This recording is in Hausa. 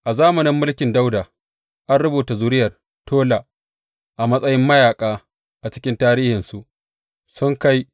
A zamanin mulkin Dawuda, an rubuta zuriyar Tola a matsayin mayaƙa a cikin tarihinsu, sun kai